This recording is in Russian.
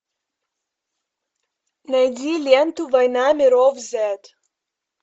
найди ленту война миров зет